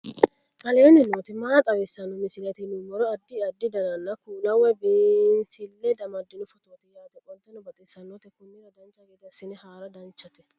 aleenni nooti maa xawisanno misileeti yinummoro addi addi dananna kuula woy biinsille amaddino footooti yaate qoltenno baxissannote konnira dancha gede assine haara danchate